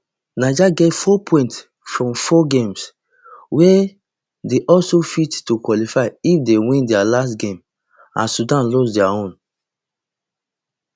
niger get four points from four games wia dey also fit to qualify if dey win dia last game and sudan lose dia own